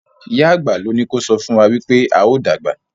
ìyá àgbà ló ní kò sọfún wá wípé ào dàgbà?